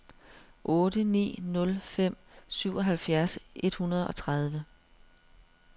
otte ni nul fem syvoghalvfjerds et hundrede og tredive